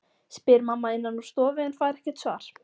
spyr mamma innan úr stofu en fær ekkert svar.